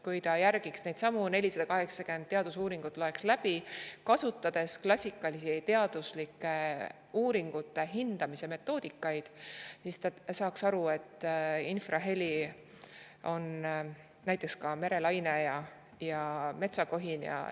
Kui ta järgiks neidsamu 480 teadusuuringut, loeks need läbi, kasutades klassikalisi teaduslike uuringute hindamise metoodikaid, siis ta saaks aru, et näiteks ka merelaine ja metsakohin on infraheli.